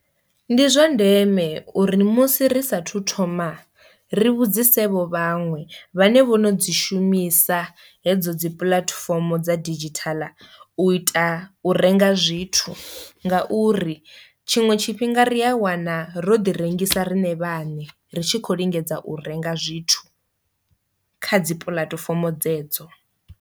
Ndi zwa ndeme uri musi ri sa thu thoma ri vhudzise vho vhaṅwe vhane vho no dzi shumisa hedzo dzi puḽatifomo dza didzhithala u ita uri renga zwithu nga uri tshiṅwe tshifhinga ri a wana ro ḓi rengisa riṋe vhaṋe ri tshi khou lingedza u renga zwithu kha dzi puḽatifomo dzedzo.